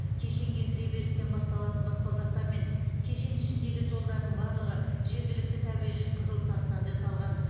кешенге кіреберістен басталатын баспалдақтар мен кешен ішіндегі жолдардың барлығы жергілікті табиғи қызыл тастан жасалған